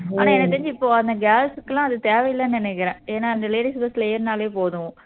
ஆனா எனக்கு தெரிஞ்சு இப்போ அந்த girls க்கு எல்லாம் அது தேவை இல்லன்னு நினைக்குறேன் ஏன்னா அந்த ladies bus ல ஏறுனாலே போதும்